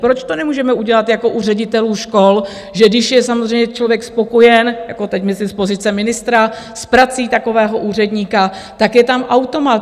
Proč to nemůžeme udělat jako u ředitelů škol, že když je samozřejmě člověk spokojen, jako teď myslím z pozice ministra, s prací takového úředníka, tak je tam automat.